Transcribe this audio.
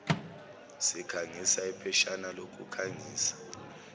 sikhangiso ipheshana lokukhangisa